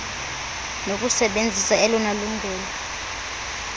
nokusebenzisa elona lungelo